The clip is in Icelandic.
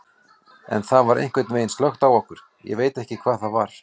En það var einhvern veginn slökkt á okkur, ég veit ekki hvað það var.